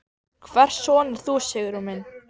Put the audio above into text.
Hvers son ert þú Sigurjón minn?